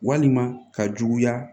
Walima ka juguya